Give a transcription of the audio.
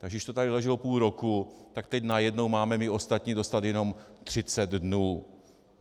Takže když to tady leželo půl roku, tak teď najednou máme my ostatní dostat jenom 30 dnů.